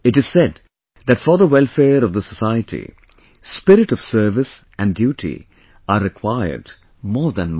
It is said that for the welfare of the society, spirit of service and duty are required more than money